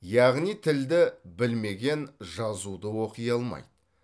яғни тілді білмеген жазуды оқи алмайды